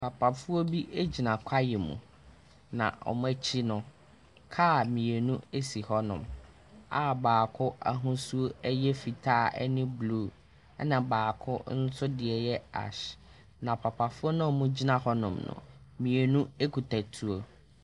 Papafo bi gyina kwaeɛ mu. Na wɔn akyi no, car mmienu si hɔnom a baako ahosu yɛ fitaa ne blue. Ɛna baako nso deɛ yɛ ash. Na papafoɔ no a wɔgyina hɔnom no, mmienu kita tuo.